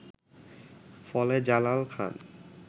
ফলে জালাল খান